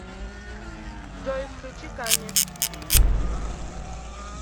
джой включи ками